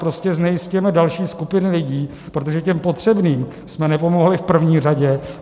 Prostě znejisťujeme další skupiny lidí, protože těm potřebným jsme nepomohli v první řadě.